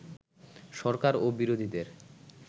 সরকার ও বিরোধীদের